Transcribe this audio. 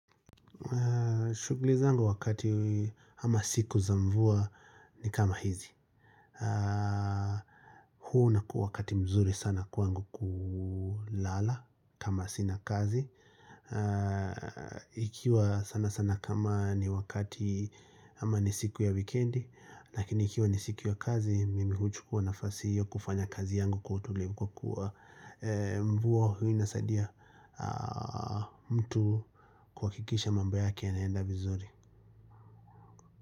Shughuli zangu wakati ama siku za mvua ni kama hizi huu unakuwa wakati mzuri sana kwangu kulala kama sina kazi Ikiwa sana sana kama ni wakati ama ni siku ya wikendi Lakini ikiwa ni siku ya kazi mimi huchukua nafasi hiyo kufanya kazi yangu kwa utulivu Kwa kuwa mvua hii inasadia mtu kuhakikisha mambo yake yanaenda vizuri.